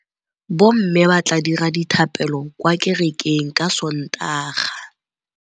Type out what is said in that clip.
Bommê ba tla dira dithapêlô kwa kerekeng ka Sontaga.